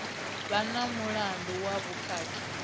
vha na mulandu wa vhukhakhi